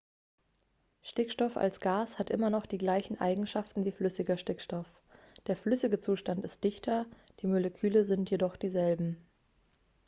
stickstoff als gas hat immer noch die gleichen eigenschaften wie flüssiger stickstoff der flüssige zustand ist dichter die moleküle sind jedoch dieselben